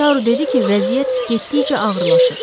Taru dedi ki, vəziyyət getdikcə ağırlaşır.